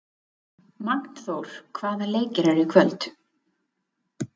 Magnþór, hvaða leikir eru í kvöld?